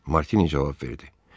Martini cavab verdi.